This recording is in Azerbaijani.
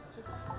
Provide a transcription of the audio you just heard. Çıx, çıx, çıx.